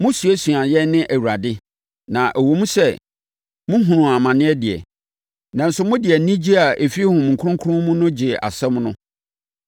Mosuasuaa yɛn ne Awurade; na ɛwom sɛ mohunuu amane deɛ, nanso mode anigyeɛ a ɛfiri Honhom Kronkron no mu gyee asɛm no.